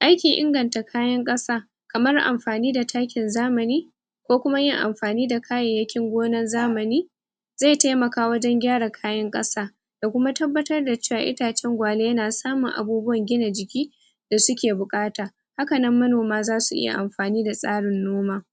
Aikin inganta kayan kasa Kamar amfani da takin zamani Ko kuma yin amfani da kayayyakin gonar zamani, Zai taimaka wajen gyara kayan kasa Da kuma tabbatar da cewa itacen gwale na samun abubuwan gina jiki Da suke bukata Hakanan manoma zasu iya amfani da tsarin noma